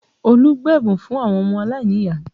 Olu gbé ẹ̀bùn fún àwọn ọmọ aláìníyàá